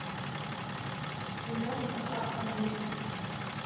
киношка акт мести